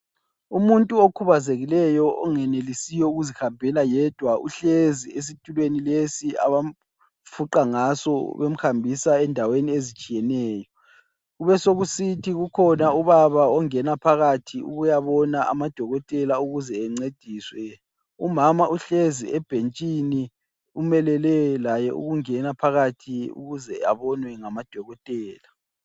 Umuntu okhubazekileyo ongenelisiyo ukuzihambela yedwa uhlezi esitulweni lesi abamfuqa ngaso bemhambisa endaweni ezitshiyeneyo. Kubesokusithi kukhona ubaba ongena phakathi ukuyabona amadokotela ukuze encediswe. Umama uhlezi ebhentshini umelele laye ukungena phakathi ukuze abonwe ngamadokotela.